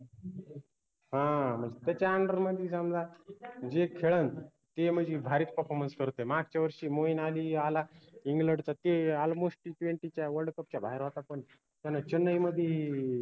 हां त्याच्या under मदि समजा जे खेळन ते म्हनजी भारीच performance करते मागच्या वर्षी मोहीन आली आला england च ते almostTtwenty च्या world cup च्या बाहेर होता पन त्यानं चेन्नई मदि